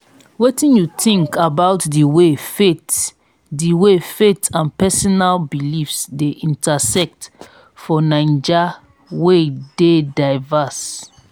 wetin you think about di way faith di way faith and personal beliefs dey intersect for naija wey dey diverse?